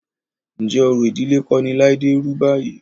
Ǹjẹ́ orò ìdílé kọ́ ni Láídé rú báyìí?